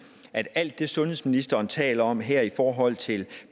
at alt det sundhedsministeren taler om her i forhold til